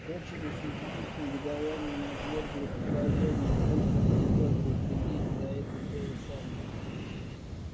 дочери судьи с негодованием отвергли предложение вызвать сиделку и взялись за это дело сами